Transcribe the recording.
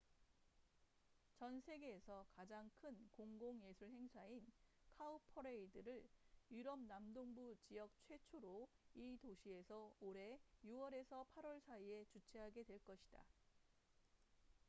전 세계에서 가장 큰 공공 예술 행사인 카우퍼레이드cowparade를 유럽 남동부 지역 최초로 이 도시에서 올해 6월에서 8월 사이에 주최하게 될 것이다